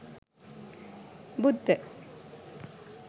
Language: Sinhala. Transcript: buddha